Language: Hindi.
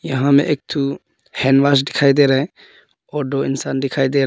यहां पे एक थू हैंडवाश दिखाई दे रहा है और दो इंसान दिखाई दे रहा है।